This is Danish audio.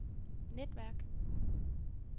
netværk